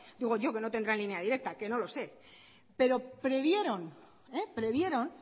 digo yo que no tendrá línea directa que no lo sé pero previeron previeron